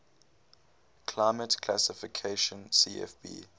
climate classification cfb